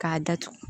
K'a datugu